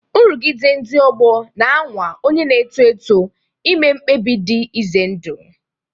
Nrụgide ndị ọgbọ na-anwa onye na-eto eto ime mkpebi dị ize ndụ.